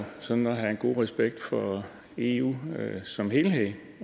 sådan at have en god respekt for eu som helhed